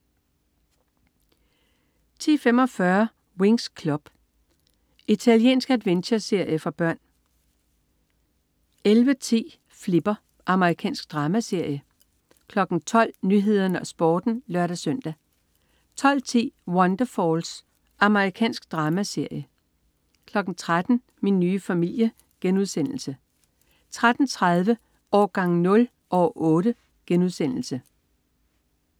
10.45 Winx Club. Italiensk adventureserie for børn 11.10 Flipper. Amerikansk dramaserie 12.00 Nyhederne og Sporten (lør-søn) 12.10 Wonderfalls. Amerikansk dramaserie 13.00 Min nye familie* 13.30 Årgang 0, år 8*